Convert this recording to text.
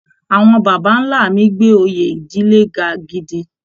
Àwọn baba ńlá mi gbé oyè ìdílé ga gidi